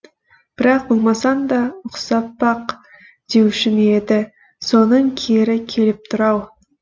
бірақ болмасаң да ұқсап бақ деуші ме еді соның кері келіп тұр ау